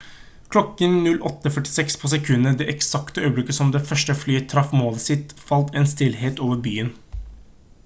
klokken 08:46 på sekundet det eksakte øyeblikket som det første flyet traff målet sitt falt en stillhet over byen